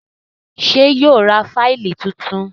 ṣe yíò rá Fáìlì títún?